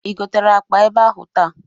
Ị gotere akpa ebe ahụ taa?